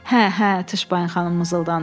Hə, hə, Tışbayın xanım mızıldandı.